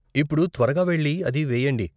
ఇప్పుడు త్వరగా వెళ్లి అది వేయండి.